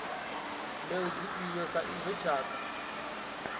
mbeu dzifhio sa izwo tshakha